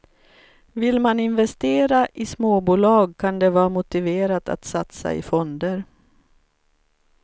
Vill man investera i småbolag kan det vara motiverat att satsa i fonder.